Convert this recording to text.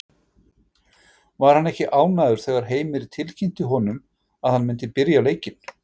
Var hann ekki ánægður þegar Heimir tilkynnti honum að hann myndi byrja leikinn?